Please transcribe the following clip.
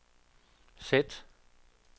sæt